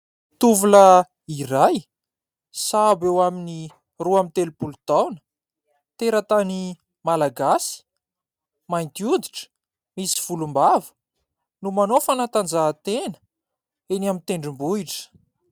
Tovolahy iray, sahabo eo amin'ny roa amby telopolo taona, teratany Malagasy, mainty oditra, misy volombava, no manao fanatanjahantena eny amin'ny tendrombohitra.